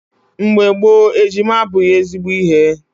Mgbe gboo, ejima abụghị ezigbo ihe.